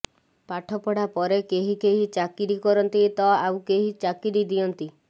ପାଠ ପଢ଼ା ପରେ କେହି କେହି ଚାକିରି କରନ୍ତି ତ ଆଉ କେହି ଚାକିରି ଦିଅନ୍ତି